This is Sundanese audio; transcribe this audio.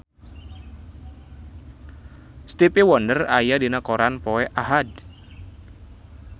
Stevie Wonder aya dina koran poe Ahad